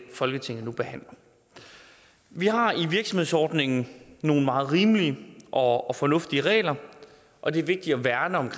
folketinget nu behandler vi har i virksomhedsordningen nogle meget rimelige og og fornuftige regler og det er vigtigt at værne om